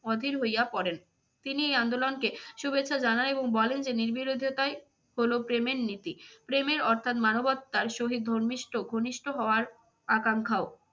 অধীর হইয়া পড়েন। তিনি এই আন্দোলনকে শুভেচ্ছা জানায় এবং বলেন যে নির্বিরোধী তাই হল প্রেমের নীতি। প্রেমের অর্থাৎ মানবত্মার সহিত ধর্মিস্ট ঘনিষ্ট হওয়ার আখাঙ্খাও।